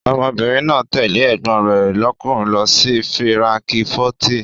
Ọmọbìnrin náà tẹ̀lé ẹ̀gbọ́n rẹ̀ lọ́kùnrin lọ sí fíránkífọ́tì.